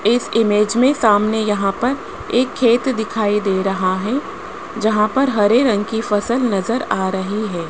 इस इमेज में सामने यहां पर एक खेत दिखाई दे रहा है जहां पर हरे रंग की फसल नजर आ रही है।